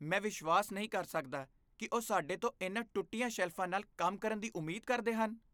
ਮੈਂ ਵਿਸ਼ਵਾਸ ਨਹੀਂ ਕਰ ਸਕਦਾ ਕਿ ਉਹ ਸਾਡੇ ਤੋਂ ਇਨ੍ਹਾਂ ਟੁੱਟੀਆਂ ਸ਼ੈਲਫਾਂ ਨਾਲ ਕੰਮ ਕਰਨ ਦੀ ਉਮੀਦ ਕਰਦੇ ਹਨ।